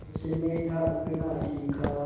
उसने था उड़ना सिखा